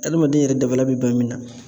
Adamaden yɛrɛ dabaliya be ban min na